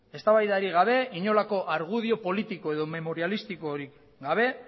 eztabaidari gabe inolako argudio politiko edo memorialistikorik